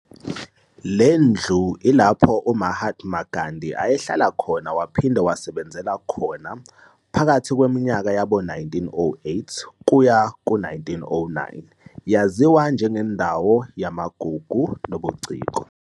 Lendlu ilapho u Mahatma Gandhi ayehlala khona waphinde wasebenzela khona phakathi kweminyaka yabo 1908 kuya ku 1909. yaziwa njenge ndawo yamagugu nobuciko.